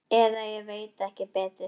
Eða ég veit ekki betur.